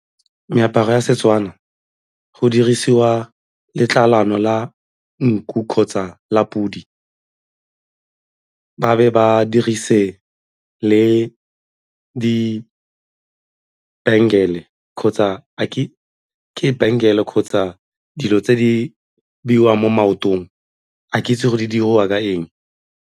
Meaparo ya Setswana go dirisiwa letlalano la nku kgotsa la podi, ba be ba dirise le di -bangle-e kgotsa ke bangle-e kgotsa dilo tse di beiwang mo maotong a ke itse go di diriwa ka eng.